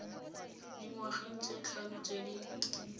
dingwageng tse tlhano tse di